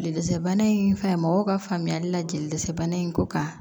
Jeli dɛsɛ bana in fɛn mɔgɔw ka faamuyali la jelibana in ko kan